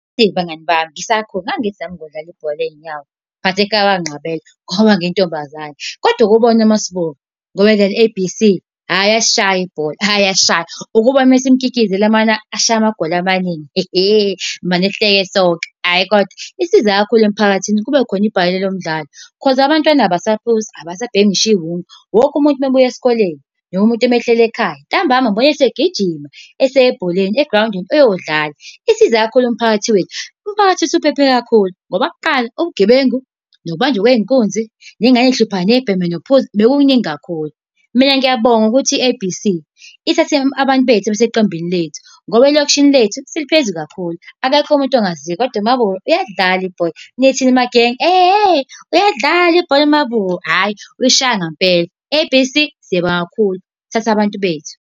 Eyi abangani bami, ngisakhula, ngangithi nami ngizodlala ibhola ley'nyawo but ekhaya banginqabela ngoba ngiyintombazane. Kodwa uke ubone ngoba edlala i-A_B_C ayi uyalishaya ibhola, ayi uyayishaya. Uke ubone uma simkikizela umane ashaye amagoli amaningi, hehe! Mane sihleke sonke. Hhayi kodwa lisiza kakhulu emphakathini, kube khona ibhola lomdalo, cause abantwana abasaphuzi abasabhemi ngisho iwunga. Wonke umuntu ume ebuya esikoleni noma umuntu ahleli ekhaya, ntambama ubuya esegijima eseye bholeni egrawundini eyodlala. Isiza kakhulu umphakathi wethu, umphakathi usuphephe kakhulu ngoba kuqala ubugebengu nokubanjwa kwey'nkunzi, neyingane eyihluphayo, niyibhemayo, nokuphuza bekukuningi kakhulu. Mina ngiyabonga ukuthi i-A_B_C ithathe abantu bethu baseqembini lethu, ngoba elokishini lethu seliphezulu kakhulu. Akekho umuntu ongaziyo, kodwa uMabura uyadlala ibhola. Nithi magenge? Ehe! Uyalidlala ibhola uMabura! Hhayi, uyalishaya ngampela. A_B_C, siyabonga kakhulu thatha abantu bethu.